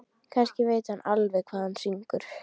Kannski veit hann alveg hvað hann syngur.